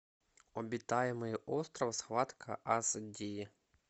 обитаемый остров схватка ас ди